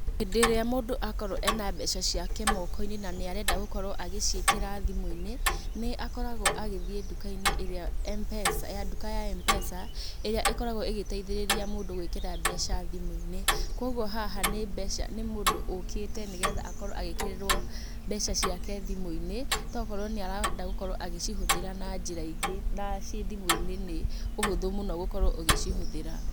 Hĩndĩ iria mũndũ akorwo ena mbeca ciake mooko-inĩ na nĩarenda gũkorwo agĩciekera thimũ-inĩ, nĩ akoragwo agithiĩ nduka-inĩ ya mpesa, ĩrĩa ĩkoragwo igeteitherĩrĩa mundũ gũikera mbeca thimu-ini kogwo haha ni mũndũ ũkĩte, nĩgetha akorwo agĩĩkĩrĩrwo mbeca ciake thimũ-inĩ to okorwo nĩarenda gũkorwo agĩcihũthĩra na njĩra ĩngĩ na ciĩ thimũ-inĩ nĩ ũhotho mũno gũkorwo ũgĩcihũthĩra.